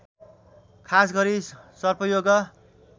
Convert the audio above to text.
खास गरी सर्पयोग